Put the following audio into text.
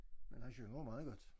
Men han synger jo meget godt